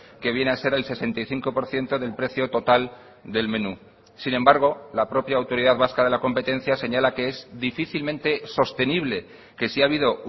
que viene a ser el sesenta y cinco por ciento del precio total del menú sin embargo la propia autoridad vasca de la competencia señala que es difícilmente sostenible que si ha habido